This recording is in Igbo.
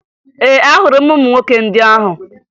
Ee, ahụrụ m ụmụ nwoke ndị ahụ